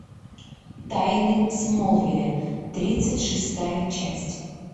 тайны смолвиля тридцать шестая часть